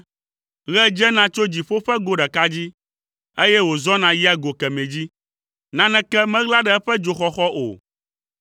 Ɣe dzena tso dziƒo ƒe go ɖeka dzi, eye wòzɔna yia go kemɛ dzi, naneke meɣla ɖe eƒe dzoxɔxɔ o.